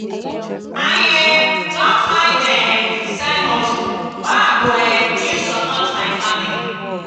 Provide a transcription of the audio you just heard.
i um don find um side hustle wey i go um use support my family.